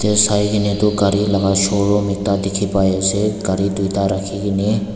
te saikaena tu gari laka showroom ekta dikhi pai ase gari tuita rakhikene.